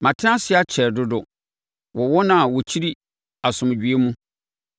Matena ase akyɛre dodo wɔ wɔn a wɔkyiri asomdwoeɛ mu.